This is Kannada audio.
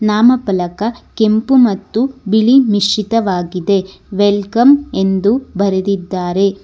ನಾಮಫಲಕ ಕೆಂಪು ಮತ್ತು ಬಿಳಿ ಮಿಶ್ರಿತವಾಗಿದೆ ವೆಲ್ಕಮ್ ಎಂದು ಬರೆದಿದ್ದಾರೆ.